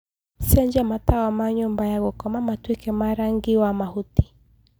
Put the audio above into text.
cenjĩa matawa ma nyũmba ya gũkoma matũike ma rangĩ wa mahũtĩ